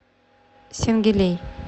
сенгилей